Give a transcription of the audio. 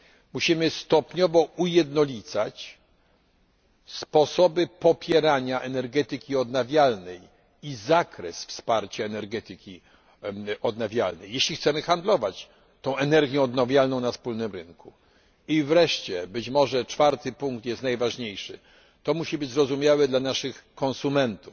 Musimy stopniowo ujednolicać sposoby popierania energetyki odnawialnej i zakres wsparcia energetyki odnawialnej, jeśli chcemy handlować energią odnawialną na wspólnym rynku. Wreszcie być może czwarty punkt jest najważniejszy musi to być zrozumiałe dla naszych konsumentów.